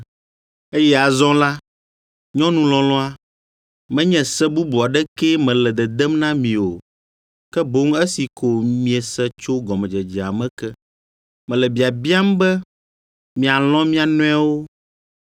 Eye azɔ la, nyɔnu lɔlɔ̃a, menye se bubu aɖekee mele dedem na mi o, ke boŋ esi ko miese tso gɔmedzedzea me ke, mele biabiam be mialɔ̃ mia nɔewo.